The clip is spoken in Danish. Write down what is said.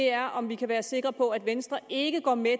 er om vi kan være sikre på at venstre ikke går med